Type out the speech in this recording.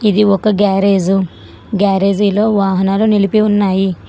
ఇది ఒక garage garage లో వాహనాలు నిలిపి ఉన్నాయి.